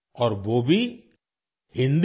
और वो भी हिन्दी में